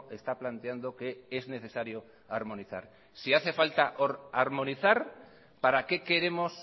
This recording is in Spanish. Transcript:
está planteando que es necesario armonizar si hace falta armonizar para qué queremos